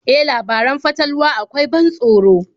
E, labaran fatalwa akwai ban tsoro.